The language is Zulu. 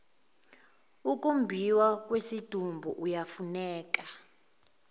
ukumbhiwa kwesidumbu iyafuneka